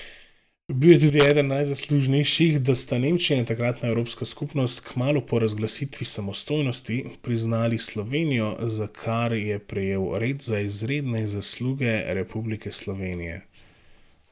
Bil je tudi eden najzaslužnejših, da sta Nemčija in takratna Evropska skupnost kmalu po razglasitvi samostojnosti priznali Slovenijo, za kar je prejel red za izredne zasluge Republike Slovenije.